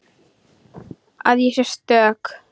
Að ég sé stök.